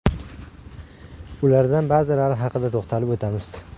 Ulardan ba’zilari haqida to‘xtalib o‘tamiz.